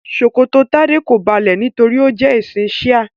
Ṣòkòtò Tade ko balẹ nítorí o jẹ ẹsin shia.